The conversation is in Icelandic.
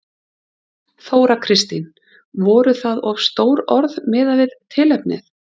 Þóra Kristín: Voru það of stór orð miðað við tilefnið?